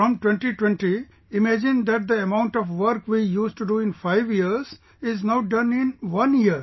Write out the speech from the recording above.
From 2020, imagine that the amount work we used to do in five years is now done in one year